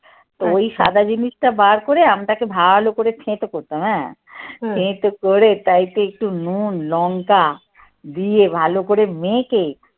ওই সাদা জিনিসটা বার করে আমটাকে ভালো করে থেঁতো করতাম হ্যাঁ থেঁতো করে তাই তো একটু নুন, লঙ্কা দিয়ে ভালো করে মেখে